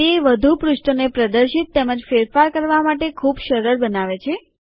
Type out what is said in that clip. તે વધુ પૃષ્ઠોને પ્રદર્શિત તેમજ ફેરફાર કરવા માટે ખૂબ સરળ બનાવે છે